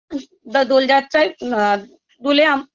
বা দোলযাত্রায় আম